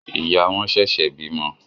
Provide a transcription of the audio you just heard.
Ìyá wón ṣẹṣẹ bímọ.